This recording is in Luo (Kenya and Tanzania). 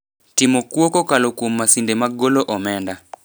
timo kuo kokalo kuom masinde mag golo omenda